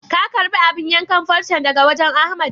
Ka karɓi abun yankan farcen daga wajen Ahmad?